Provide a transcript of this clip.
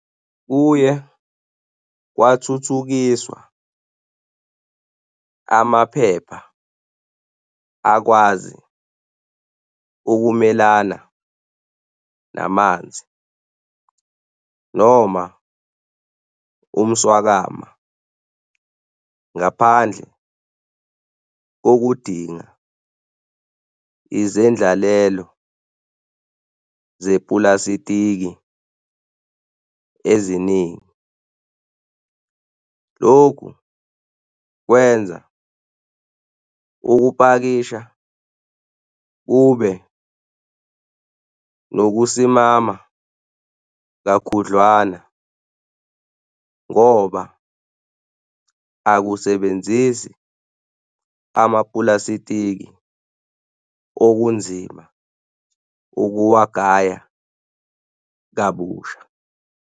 Kuye kwathuthukiswa amaphepha akwazi ukumelana namanzi noma umswakama ngaphandle kokudinga izendlalelo zepulasitiki eziningi. Lokhu kwenza ukupakisha kube nokusimama kakhudlwana ngoba akusebenzisi amapulasitiki okunzima ukuwagaya kabusha.